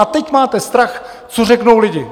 A teď máte strach, co řeknou lidé.